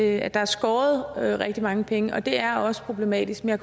at der er skåret rigtig mange penge og det er også problematisk men